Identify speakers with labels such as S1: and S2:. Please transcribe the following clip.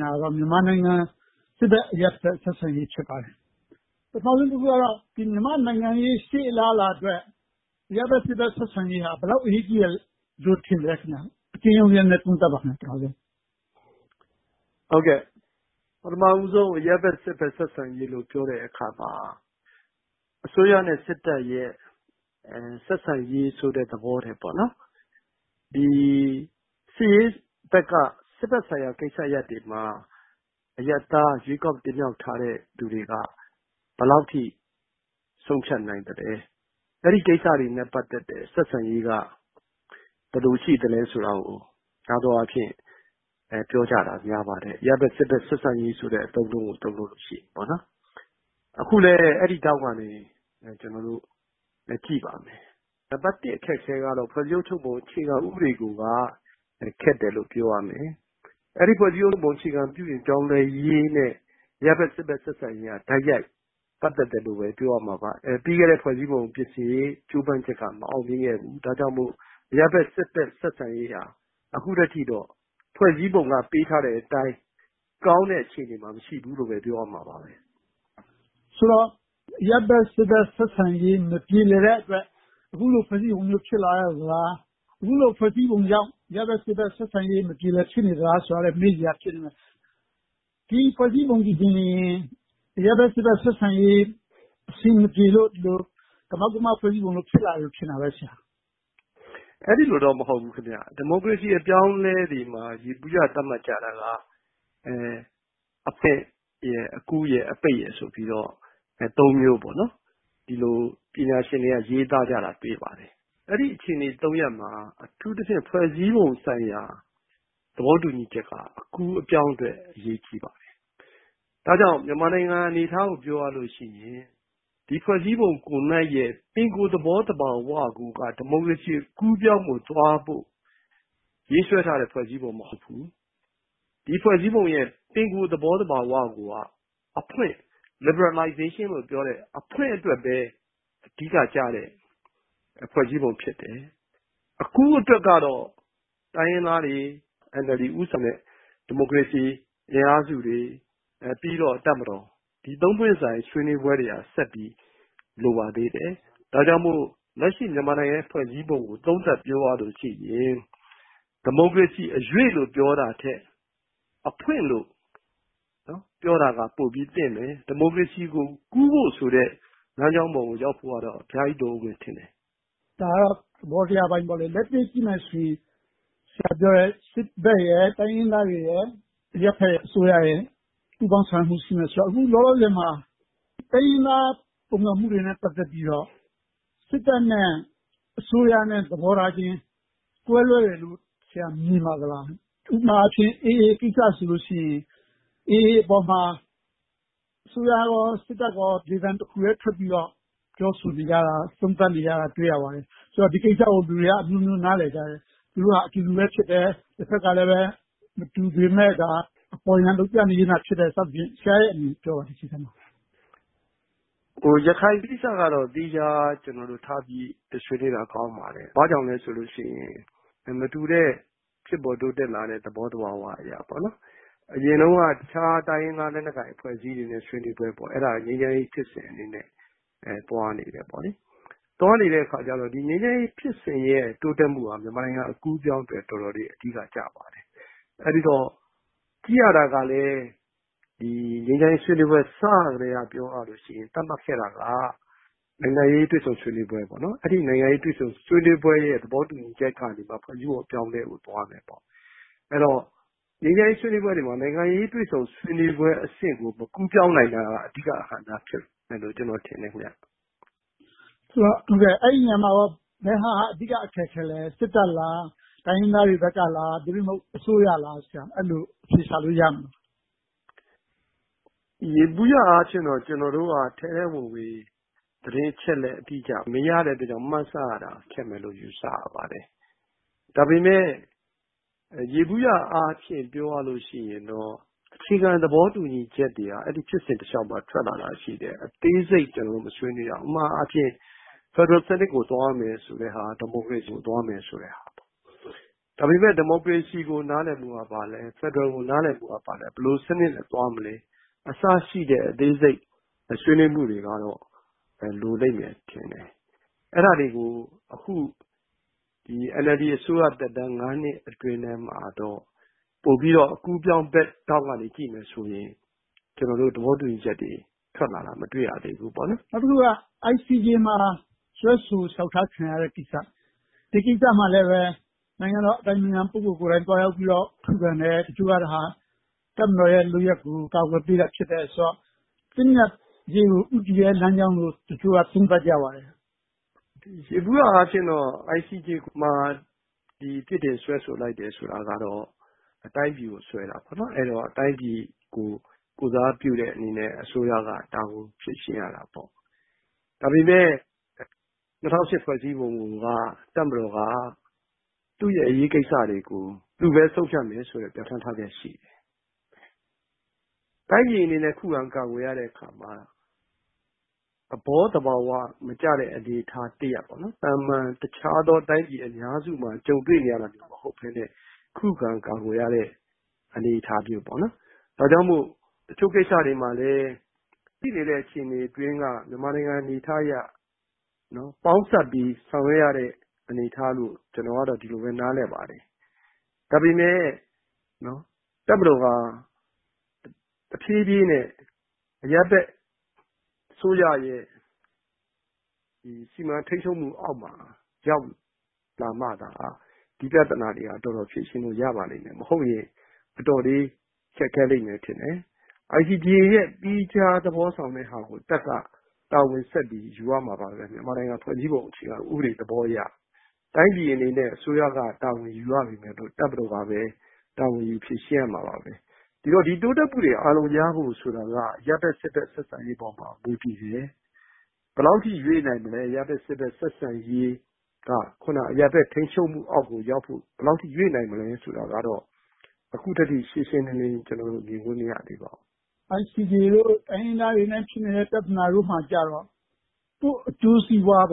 S1: တာကတော့ မြန်မာနိုင်ငံ စစ်တပ်-အရပ်ဘက် ဆက်ဆံရေး ဖြစ်ပါတယ်။ ပထမဦးဆုံးကတော့ မြန်မာ့နိုင်ငံရေး ရှေ့အလားအလာအတွက် အရပ်ဘက်-စစ်ဘက် ဆက်ဆံရေးဟာ ဘယ်လောက် အရေးကြီးတယ်လို့ ထင်ပါသလဲ။ အကျဉ်းရုံးလေး သုံးသပ်ပေးပါ။ ဖြေ ။ ။
S2: ပထမဦးဆုံး အရပ်ဘက်-စစ်ဘက် ဆက်ဆံရေးလို့ ပြောတဲ့အခါမှာ အစိုးရနဲ့စစ်တပ် ဆက်ဆံရေးဆိုတဲ့သဘောထက် စစ်ရေးဘက်က စစ်ဘက်ဆိုင်ရာကိစ္စရပ်တွေမှာ အရပ်သားရွေးကောက်တင်မြှောက်ထားတဲ့ လူတွေက ဘယ်လောက်အထိ ဆုံးဖြတ်နိုင်သလဲ။ အဲဒီကိစ္စတွေနဲ့ ပတ်သက်တဲ့ ဆက်ဆံရေးက ဘယ်လိုရှိသလဲဆိုတာကို များသောအားဖြင့် ပြောကြတာများပါတယ်။ အရပ်ဘက်-စစ်ဘက် အသုံးအနှုန်းကို သုံးတဲ့အခါမှာ။ အခုလဲ အဲဒီရှုထောင့်ကနေ ကြည့်ပါမယ်။ နံပတ်တစ် အခက်အခဲကတော့ ဖွဲ့စည်းအုပ်ချုပ်ပုံ အခြေခံဥပဒေကိုက ခက်တယ်လို့ ပြောရမယ်။ အဲဒီ အခြေခံဥပဒေ ပြောင်းလဲရေးနဲ့ အရပ်ဘက်-စစ်ဘက် ဆက်ဆံရေးက တိုက်ရိုက်ပတ်သက်တယ်လို့ပဲ ပြောရမှာပါ။ ပြီးခဲ့တဲ့ ဖွဲ့စည်းပုံ ပြင်ဆင်ရေး ကြိုးပမ်းမှုက မအောင်မြင်ခဲ့ဘူး။ ဒါကြောင့်မို့ အရပ်ဘက်-စစ်ဘက် ဆက်ဆံရေးဟာ အခုထက်ထိတော့ ဖွဲ့စည်းပုံက ပေးထားတဲ့အတိုင်း ကောင်းတဲ့အခြေအနေမှာ မရှိသေးဘူးလို့ပဲ ပြောရမှာပါ။ မေး
S1: ။ ။ ဆိုတော့ အရပ်ဘက်-စစ်ဘက် ဆက်ဆံရေး မပြေလည်တဲ့အတွက် အခုလို ဖွဲ့စည်းပုံမျိုး ဖြစ်လာရသလား။ အခုလို ဖွဲ့စည်းပုံကြောင့် အရပ်ဘက်-စစ်ဘက် ဆက်ဆံရေး မပြေလည် ဖြစ်နေရသလားဆိုတာကိုက မေးစရာ ဖြစ်နေပါတယ်။ ဒီ ဖွဲ့စည်းပုံသည်ပင် အရပ်ဘက်-စစ်ဘက် ဆက်ဆံရေး အဆင်မပြေလို့ ကမောက်ကမ ဖွဲ့စည်းပုံ ဖြစ်လာတယ်လို့ ထင်တာပဲ။ ဖြေ ။ ။ အဲဒီလိ
S2: ုတော့ မဟုတ်ပါဘူး။ ဒီမိုကရေစီအပြောင်းအလဲတွေမှာ ယေဘုယျ သတ်မှတ်ကြတာက အဖွင့်၊ အကူး၊ အပိတ်ရယ်ဆိုပြီးတော့ သုံးမျိုး ပညာရှင်တွေက ရေးသားကြတာကို တွေ့ရပါတယ်။ အဲဒီအခြေအနေ သုံးရပ်မှာ အထူးသဖြင့် ဖွဲ့စည်းပုံဆိုင်ရာ သဘောတူညီချက်က အကူအပြောင်းအတွက် အရေးကြီးပါတယ်။ ဒါကြောင့် မြန်မာနိုင်ငံအနေအထားကို ပြောရလို့ရှိရင် ဒီဖွဲ့စည်းပုံရဲ့ ပင်ကိုသဘောသဘာဝကိုယ်က ဒီမိုကရေစီ အကူးအပြောင်းကိုသွားဖို့ ရေးဆွဲထားတဲ့ ဖွဲ့စည်းပုံ မဟုတ်ဘူး။ ဒီဖွဲ့စည်းပုံရဲ့ ပင်ကိုသဘောသဘာဝကိုယ်က အဖွင့် liberalization လို့ပြောတဲ့ အဖွင့်အတွက်ပဲ အဓိကကျတဲ့ ဖွဲ့စည်းပုံဖြစ်တယ်။ အကူးအတွက်ကတော့ တိုင်းရင်းသားတွေ၊ NLD ဦးဆောင်တဲ့ ဒီမိုကရေစီအင်အားစုတွေ ပြီးတော့ တပ်မတော် ဒီ စု ပွင့်ဆိုင် ဆွေးနွေးပွဲတွေက ဆက်ပြီးလိုပါသေးတယ်။ ဒါကြောင့်မို့ လက်ရှိမြန်မာနိုင်ငံဖွဲ့စည်းပုံကို သုံးသပ်ပြောရလို့ရှိရင် ဒီမိုကရေစီအရွေ့လို့ပြောတာထက် အဖွင့်လို့ပြောတာက ပိုပြီးသင့်တယ်။ ဒီမိုကရေစီကို ကူးဖို့ဆိုတဲ့ လမ်းကြောင်းပေါ်ကို ရောက်ဖို့အတွက်တော့ အများကြီးလိုအုံးမယ်ထင်တယ်။ မေး
S1: ။ ။ ဒါကတော့ သဘောတရားအပိုင်းပေါ့။ လက်တွေ့ကြည့်မယ်ဆိုရင် ဆရာပြောတဲ့ စစ်ဘက်၊ တိုင်းရင်းသားတွေရယ်၊ အရပ်ဘက်အစိုးရရယ် ပူးပေါင်းပြီးတော့ ဆောင်ရွက်ရမယ်ဆိုတော့ အခုလောလောဆယ်မှာ တိုင်းရင်းသား ပုန်ကန်မှုတွေနဲ့ ပတ်သက်ပြီးတော့ စစ်တပ်နဲ့ အစိုးရနဲ့ သဘောထားချင်း ကွဲလွဲတယ်လို့ ဆရာ မြင်ပါသလား။ ဥပမာ AA ကိစ္စဆိုရင် AA ပေါ်မှာ အစိုးရကော၊ စစ်တပ်ကော လေသံတစ်ခုတည်းထွက်ပြီးတော့ ပြောဆိုနေကြတယ်လို့ သုံးသပ်ပြောဆိုနေကြတာကို တွေ့ရပါတယ်။ ဆိုတော့ ဒီကိစ္စကို လူတွေကအမျိုးမျိုး နားလည်ကြတယ်။ သူတို့ဟာ အတူတူပဲ ဖြစ်တယ်။ တဘက်ကလဲ မတူပေမယ့် ဒါဟာအပေါ်ယံ လုပ်ပြနေခြင်းတာ ဖြစ်တယ်လို့ ပြောကြတယ်။ ဆရာရဲ့ အမြင်ကို ပြောပြပေးပါ။ ဖ
S2: ြေ ။ ။ ရခိုင်ကိစ္စကတော့ သီးခြားထားပြီးတော့ ဆွေးနွေးတာ ကောင်းပါတယ်။ ဘာကြောင့်လဲဆိုတော့ မတူတဲ့ ဖြစ်ပေါ်တိုးတက်လာတဲ့ သဘောသဘာဝအရပေါ့။ အရင်တုန်းက တခြားတိုင်းရင်းသားလက်နက်ကိုင် အဖွဲ့အစည်းတွေနဲ့ ဆွေးနွေးပွဲ - အဲဒါ ငြိမ်းချမ်းရေးဖြစ်စဉ်အနေနဲ့ သွားနေတယ်။ သွားနေတဲ့အခါကြတော့ ငြိမ်းချမ်းရေးဖြစ်စဉ်ရဲ့ တိုးတက်မှုဟာ မြန်မာနိုင်ငံအကူးအပြောင်းအတွက် တော်တော်လေး အဓိကကျပါတယ်။ အဲဒီတော့ ကြည့်ရတာကလဲ ငြိမ်းချမ်းရေးဆွေးနွေးပွဲ စကတည်းက ပြောရလို့ရှိရင် သတ်မှတ်ခဲ့တာက နိုင်ငံရေးတွေ့ဆုံဆွေးနွေးပွဲ။ အဲဒီနိုင်ငံရေး တွေ့ဆုံဆွေးနွေးပွဲရဲ့ သဘောတူညီချက်ကနေ ဖွဲ့စည်းပုံပြောင်းလဲရေးကို သွားကြမယ်ပေ့ါ။ အဲဒီတော့ ငြိမ်းချမ်းရေးဆွေးနွေးပွဲတွေမှာ နိုင်ငံရေးတွေ့ဆုံဆွေးနွေးပွဲအဆင့်ကို မကူးပြောင်းနိုင်တာက အဓိကအဟန့်အတားဖြစ်မယ်လို့ ကျနော်ထင်တယ်။ မေး ။ ။
S1: ဆိုတော့ အဲဒီနေရာမှာကော ဘယ်ဟာက အဓိကအခက်အခဲလဲ။ စစ်တပ်လား၊ တိုင်းရင်းသားတွေဘက်ကလား။ သို့တည်မဟုတ် အစိုးရလား။ အဲဒီလို အဖြေရှာလို့ရမလား
S2: ။ ဖြေ ။ ။ ယေဘုယျအားဖြင့်တော့ ကျနော်တို့က ထဲထဲဝင်ဝင် သတင်းအချက်အလက် အတိအကျ မရတဲ့အတွက် မှန်းဆရတာ ခက်မယ်လို့ ယူဆရပါတယ်။ ဒါပေမဲ့ ယေဘုယျအားဖြင့် ပြောရမယ်ဆိုရင်တော့ အခြေခံသဘောတူညီချက်တွေက အဲဒီဖြစ်စဉ်တလျှောက်မှာ ထွက်လာတာရှိတယ်။ အသေးစိတ် ကျနော်တို့ မဆွေးနွေးတာ - ဥပမာ ဖယ်ဒရယ်စနစ်ကို သွားမယ်ဆိုတဲ့ဟာနဲ့ ဒီမိုကရေစီကို သွားမယ်ဆိုတဲ့ဟာ
S1: ။
S2: ဒါပေမဲ့ ဒီမိုကရေစီကို နားလည်မှုက ဘာလဲ။ ဖယ်ဒရယ်ကို နားလည်မှုက ဘာလဲ။ ဘယ်လို စနစ်နဲ့သွားမလဲ။ အစရှိတဲ့ အသေးစိတ်ဆွေးနွေးမှုတွေကတော့ လိုလိမ့်မယ်ထင်တယ်။ အဲဒါတွေကို အခု NLD အစိုးရသက်တမ်း နှစ်အတွင်းမှာတော့ ပိုပြီးတော့ အကူးအပြောင်းဘက် သဘောကကြည့်မယ်ဆိုရင် ကျနော်တို့ သဘောတူညီချက်တွေ ထွက်လာတာကို မတွေ့ရသေးဘူး။ မေး ။ ။ န
S1: ောက်တခုက ICJ မှာ စွဲဆိုလျှောက်ထားခံရတဲ့ ကိစ္စ။ ဒီကိစ္စမှာလဲ နိုင်ငံတော်အတိုင်ပင်ခံပုဂ္ဂိုလ်ကိုယ်တိုင် သွားရောက်ပြီးတော့ ခုခံတယ်။ အချို့က ဒါဟာ တပ်မတော်ရဲ့ လုပ်ရပ်ကို ကာကွယ်ပေးတာဆိုတော့ သင့်မြတ်ရေးကို ဦးတည်တဲ့လမ်းကြောင်းလို့ တချို့က သုံးသပ်ကြပါတယ်။
S2: ဖြေ ။ ။ ယေဘုယျအားဖြင့်တော့ ICJ မှာ ပြစ်တင်စွဲဆိုလိုက်တယ်ဆိုတာကတော့ တိုင်းပြည်ကိုစွဲတာဆိုတော့ တိုင်းပြည်ကို ကိုယ်စားပြုတဲ့အနေနဲ့ အစိုးရက တာဝန်ယူဖြေရှင်းရတာပေါ့။ ဒါပေမဲ့ ၂၀၀၈ ဖွဲ့စည်းပုံကိုက တပ်မတော်က သူ့ရဲ့အရေးကိစ္စတွေကို သူပဲဆုံးဖြတ်မယ်ဆိုတာ ပြဌာန်းထားတာရှိတယ်။ တိုင်းပြည်အနေနဲ့ ခုခံကာကွယ်ရတဲ့အခါမှာ သဘောသဘာဝမကျတဲ့ အနေအထားတရပ် သာမန်တခြားသောတိုင်းပြည်အများစုမှာ ကြုံတွေ့နေရတာ မဟုတ်ဘဲနဲ့ ခုခံကာကွယ်ရတဲ့ အနေအထားမျိုးပေါ့။ ဒါကြောင့်မို့ တချို့ကိစ္စတွေမှာလဲ ရှိနေတဲ့အခြေအနေအတွင်းက မြန်မာနိုင်ငံအနေအထားအရ ပေါင်းစပ်ပြီးဆောင်ရွက်ရတဲ့ အနေအထားလို့ ကျနော်ကတော့ ဒီလိုပဲ နားလည်ပါတယ်။ ဒါပေမဲ့ တပ်မဟော်ဟာ တဖြည်းဖြည်းနဲ့ အရပ်ဘက်အစိုးရရဲ့ စီမံထိန်းချုပ်မှုအောက်မှာ ရောက်လာမှသာ ဒီပြဿနာတွေက တော်တော်ဖြေရှင်းလို့ ရပါလိမ့်မယ်။ မဟုတ်ရင် အတော်လေး ခက်ခဲလိမ့်မယ်ထင်တယ်။ ICJ သီးခြားဆောင်ရွက်မယ့်ဟာကို တပ်က တာဝန်ဆက်ပြီးဆောင်ရွက်ရမှာက မြန်မာနိုင်ငံ ဖွဲ့စည်းပုံအခြေခံသဘောအရ။ တိုင်းပြည်အနေနဲ့ အစိုးရက တာဝန်ယူရပေမယ့် တပ်မတော်ကပဲ တာဝန်ယူဖြေရှင်းရမှာပါ။ ဒီတော့ ဒီတိုးတက်မှုတွေ အာရုံရဖို့ဆိုတာက အရပ်ဘက်-စစ်ဘက် ဆက်ဆံရေးပေါ်မှာ မူတည်တယ်။ ဘယ်လောက်အထိ ရွေ့နိုင်မလဲ အရပ်ဘက်-စစ်ဘက် ဆက်ဆံရေးက အခုန အရပ်ဘက်ထိန်းချုပ်မှုအောက်ကို ရောက်ဖို့ ဘယ်လောက်အထိ ရွေ့နိုင်မလဲဆိုတာကတော့ အခုထက်ထိ ရှင်းရှင်းလင်းလင်း မြင်ခွင့်မ
S1: ရသေးပါဘူး။ မေး ။ ။ ICJ, တိုင်းရင်းသားတွေနဲ့ ဖြစ်နေတဲ့ ပြဿနာတွေမှာတော့ ကိုယ့်အကျိုးစီးပွား -